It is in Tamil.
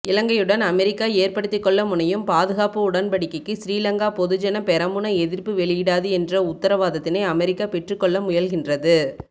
இலங்கையுடன் அமெரிக்கா ஏற்படுத்திக்கொள்ள முனையும் பாதுகாப்பு உடன்படிக்கைக்கு ஸ்ரீலங்கா பொதுஜன பெரமுன எதிர்ப்பு வெளியிடாது என்ற உத்தரவாதத்தை அமெரிக்கா பெற்றுக்கொள்ளமுயல்கின்றது